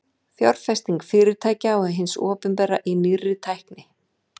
fjárfesting fyrirtækja og hins opinbera í nýrri tækni